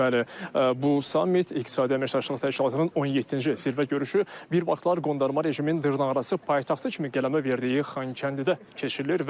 Bəli, bu sammit iqtisadi əməkdaşlıq təşkilatının 17-ci zirvə görüşü bir vaxtlar qondarma rejimin dırnaqarası paytaxtı kimi qələmə verdiyi Xankəndidə keçirilir.